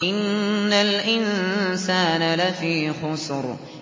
إِنَّ الْإِنسَانَ لَفِي خُسْرٍ